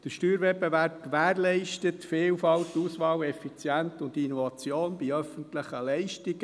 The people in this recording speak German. Der Steuerwettbewerb gewährleistet die Vielfalt, die Auswahl in effizienter Weise und die Innovation bei öffentlichen Leistungen.